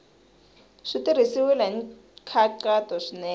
swi tirhisiwile hi nkhaqato swinene